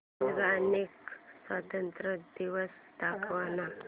Albania स्वातंत्र्य दिवस दाखव ना